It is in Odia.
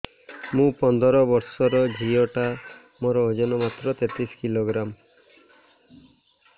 ମୁ ପନ୍ଦର ବର୍ଷ ର ଝିଅ ଟା ମୋର ଓଜନ ମାତ୍ର ତେତିଶ କିଲୋଗ୍ରାମ